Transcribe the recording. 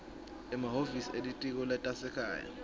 emahhovisi elitiko letasekhaya